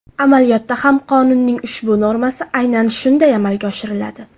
Amaliyotda ham qonunning ushbu normasi aynan shunday amalga oshiriladi.